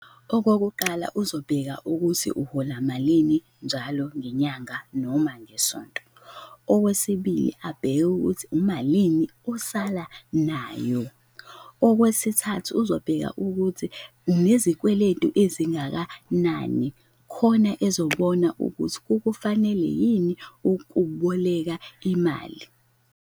Okokuqala uzobheka ukuthi uhola malini njalo ngenyanga noma ngesonto, okwesibili abheke ukuthi umalini osala nayo, okwesithathu uzobheka ukuthi unezikweletu ezingakanani khona ezobona ukuthi kukufanele yini ukuboleka imali.